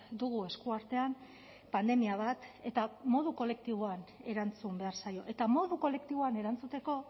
dugu eskuartean pandemia bat eta modu kolektiboan erantzun behar zaio eta modu kolektiboan erantzuteko